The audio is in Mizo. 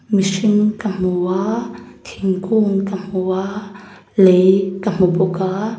mihring ka hmu a thingkung ka hmu a lei ka hmu bawk a.